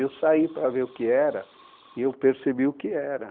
E eu saí para ver o que era e eu percebi o que era.